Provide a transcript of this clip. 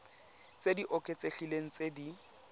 tse di oketsegileng tse di